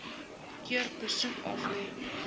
keer besoek aflê